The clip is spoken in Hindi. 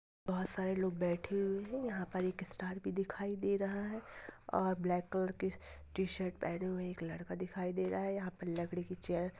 बहुत सारे लोग बैठे हुए हैं यहाँ पर एक स्टार भी दिखाई दे रहा है और ब्लैक कलर की टी शर्ट पहने हुए एक लड़का दिखाई दे रहा है यहाँ पे लकड़ी की चेयर --